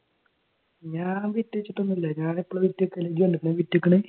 ഞാൻ ബിറ്റ് വെച്ചിട്ട് ഒന്നുമില്ല ഞാൻ എപ്പോഴാ ബിറ്റ് വെക്കുന്നത്? നീ കണ്ടിട്ടുണ്ടോ ഞാൻ ബിറ്റ് വെക്കുന്നത്?